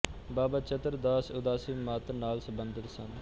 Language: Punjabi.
ਬਾਬਾ ਚਤਰ ਦਾਸ ਉਦਾਸੀ ਮਤ ਨਾਲ ਸਬੰਧਤ ਸਨ